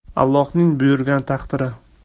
Allohning buyurgan taqdiri.